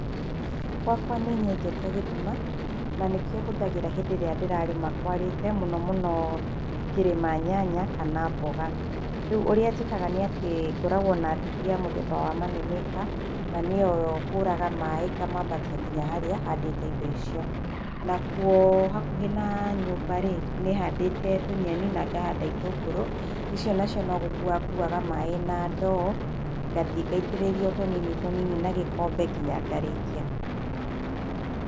Gwakwa nĩnyenjete gĩthima na nĩkĩo hũthagĩra hĩndĩ ĩrĩa ndĩrarĩma kwarĩte mũno mũno ngĩrĩma nyanya kana mboga, rĩu ũrĩa njĩkaga nĩ atĩ ngoragwo na ndũthi ya mũthemba wa money maker, na nĩyo ĩyo hũraga maaĩ ngamambatia nginya harĩa handĩte indo icio, nakũo, hakũhĩ na nyũmbaĩ, nĩhandĩte tũnyeni na ngahanda itũngũro icĩo nacĩo no gũkũwa ngũwaga maaĩ na ndoo, ngathĩe ngaitĩrĩria otũnini tũnini na gĩkombe ngĩnya ngarĩkĩa.